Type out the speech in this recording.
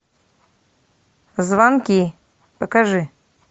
звонки покажи